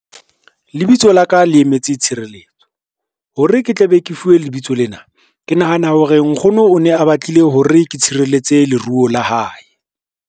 Lebitso la ka le emetse tshireletso, hore ke tla be ke fuwe lebitso lena. Ke nahana hore nkgono o ne a batlile hore ke tshireletse leruo la hae.